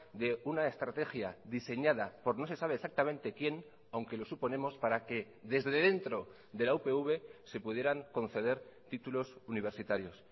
de una estrategia diseñada por no se sabe exactamente quién aunque lo suponemos para que desde dentro de la upv se pudieran conceder títulos universitarios